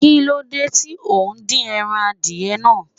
Kí ló dé tí o ò dín ẹran adìẹ náà?